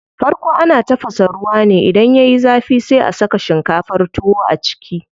Farko ana tafasa ruwa ne, idan yayi zafi sai a saka shinkafar tuwo a ciki.